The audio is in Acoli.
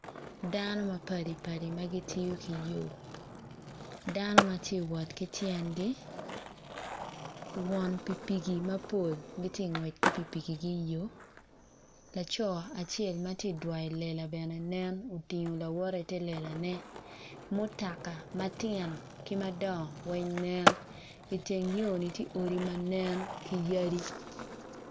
Dano mapadipadi ma gitiyo ki yoo dano ma giti wot ki tyengi won pigipigi mapol giti ka gwec ki pigipigi i yo laco acel ma ti dwoyo lela bene nen otingo lawotte i te lelane mutaka matino ki madwongo weny nen iteng yo-ni ti odi manen ki yadi